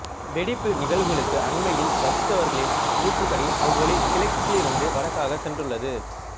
வெடிப்பு நிகழ்வுக்கு அண்மையில் வசித்தவர்களின் கூற்றுப்படி அவ்வொலி கிழக்கிலிருந்து வடக்காக சென்றுள்ளது